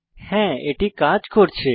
হ্যাঁ এটি কাজ করছে